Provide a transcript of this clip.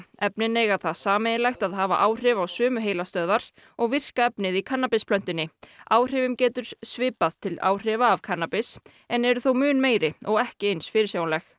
efnin eiga það sameiginlegt að hafa áhrif á sömu heilastöðvar og virka efnið í kannabisplöntunni áhrifum getur svipað til áhrifa af kannabis en eru þó mun meiri og ekki eins fyrirsjáanleg